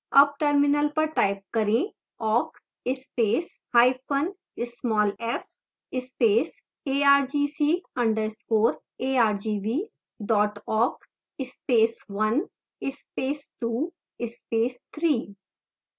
awk terminal पर type करेंawk space hyphen small f space argc underscore argv dot awk space one space two space three